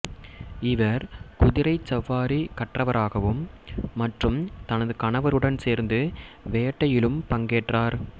இவர் குதிரைச் சவாரி கற்றவராகவும் மற்றும் தனது கணவருடன் சேர்ந்து வேட்டையிலும் பங்கேற்றார்